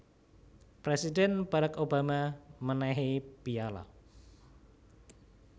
Presidhen Barrack Obama menehi piyala